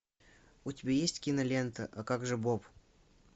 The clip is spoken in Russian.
у тебя есть кинолента а как же боб